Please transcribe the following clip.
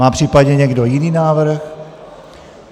Má případně někdo jiný návrh?